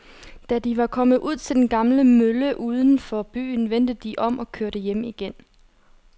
Da de var kommet ud til den gamle mølle uden for byen, vendte de om og kørte hjem igen.